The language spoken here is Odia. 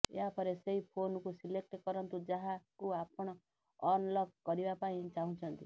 ଏହା ପରେ ସେହି ଫୋନକୁ ସିଲେକ୍ଟ କରନ୍ତୁ ଯାହାକୁ ଆପଣ ଅନଲକ କରିବା ପାଇଁ ଚାହୁଁଛନ୍ତି